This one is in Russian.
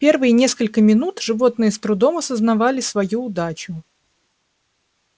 первые несколько минут животные с трудом осознавали свою удачу